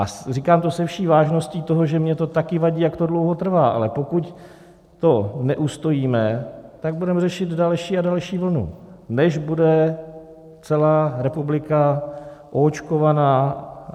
A říkám to se vší vážností toho, že mně to taky vadí, jak to dlouho trvá, ale pokud to neustojíme, tak budeme řešit další a další vlnu, než bude celá republika oočkována.